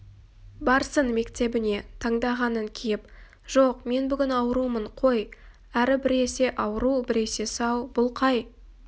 барсын мектебіне таңдағанын киіп жоқ мен бүгін аурумын қой әрі біресе ауру біресе сау бұл қай